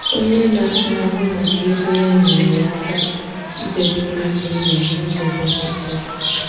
onye na-ahụ maka ego ya nyere ya aka idebe mmefu ụlọ n'ụzọ kwesịrị ekwesị